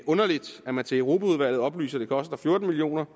underligt at man til europaudvalget oplyser at det koster fjorten million